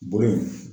Bolo in